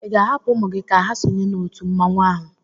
ị ga-ahapụ ụmụ gị ka ha sonye n'òtù mmanwụ ahụ?